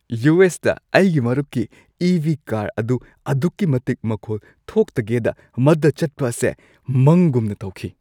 U. S. ꯇ ꯑꯩꯒꯤ ꯃꯔꯨꯞꯀꯤ ꯏ. ꯚꯤ. ꯀꯥꯔ ꯑꯗꯨ ꯑꯗꯨꯛꯀꯤ ꯃꯇꯤꯛ ꯃꯈꯣꯜ ꯊꯣꯛꯇꯒꯦꯗ ꯃꯗꯨꯗ ꯆꯠꯄ ꯑꯁꯤ ꯃꯪꯒꯨꯝꯅ ꯇꯧꯈꯤ꯫